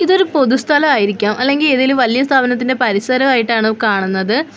ഇതൊരു പൊതുസ്ഥല ആയിരിക്കാം അല്ലെങ്കിൽ ഏതേലും വലിയ സ്ഥാപനത്തിന്റെ പരിസരയിട്ടാണ് കാണുന്നത്.